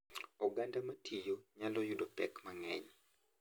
Oganda ma tiyo nyalo yudo pek mang’eny,